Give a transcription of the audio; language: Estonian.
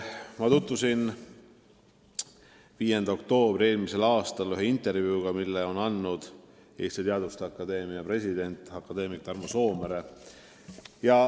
Ma lugesin muu hulgas intervjuud, mille andis mullu 5. oktoobril Eesti Teaduste Akadeemia president akadeemik Tarmo Soomere.